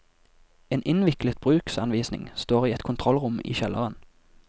En innviklet bruksanvisning står i et kontrollrom i kjelleren.